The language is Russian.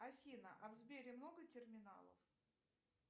афина а в сбере много терминалов